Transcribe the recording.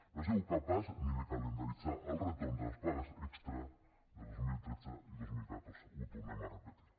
no ha sigut capaç ni de calendaritzar el retorn de les pagues extres de dos mil tretze i dos mil catorze ho tornem a repetir